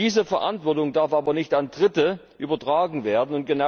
Diese Verantwortung darf aber nicht an Dritte übertragen werden.